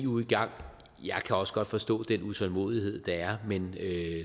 gang jeg kan også godt forstå den utålmodighed der er men